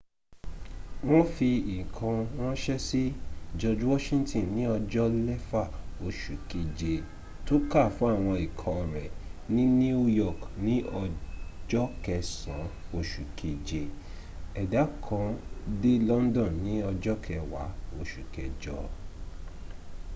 wọ́n fi ìkan ránṣẹ́ sí george washington ní ọjọ́ lẹfà oṣù kẹje tó kàá fún àwọn ikọ̀ rẹ ní new york ní ọja kẹssàn oṣù kẹje ẹ̀dà kan dé london ní ọja kẹwàá oṣù kẹjọ